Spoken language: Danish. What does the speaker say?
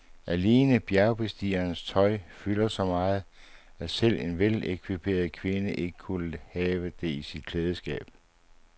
Alene bjergbestigerens tøj fylder så meget, at selv en velekviperet kvinde ikke kunne have det i sit klædeskab.